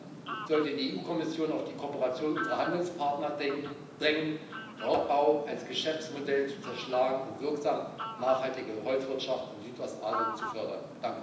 Deshalb sollte die EU Kommission auf die Kooperation unserer Handelspartner drängen, Raubbau als Geschäftsmodell zu zerschlagen und wirksam nachhaltige Holzwirtschaft in Südostasien zu fördern.